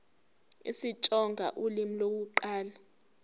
isitsonga ulimi lokuqala